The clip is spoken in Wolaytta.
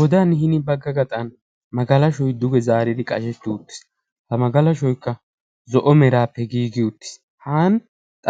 Godaan hinin bagga gaaxan magalaashoy duge zaari qashshetti uttiis. ha magalaashshoykka zo'o meraappe giigi uttiis. haan